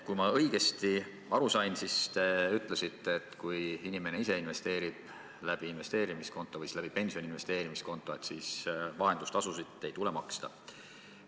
Kui ma õigesti aru sain, siis te ütlesite, et kui inimene ise investeerib investeerimiskontot või pensioni investeerimiskontot kasutades, siis vahendustasusid ei tule maksta.